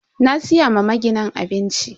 Na siya ma maginin abinci.